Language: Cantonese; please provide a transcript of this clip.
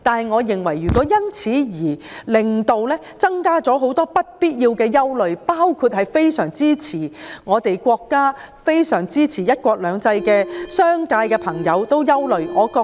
我認為，修例不應增加不必要的憂慮，特別是支持國家及"一國兩制"的商界朋友的憂慮。